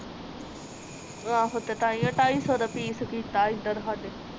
ਆਹ ਤਾ ਤਾਈਓਂ ਟਾਈ ਸੋ ਦਾ ਪੀਸ ਕਿਤਾ ਇਧਰ ਸਾਡੇ